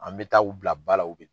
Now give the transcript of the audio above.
An mɛ taa u bila ba la, u bi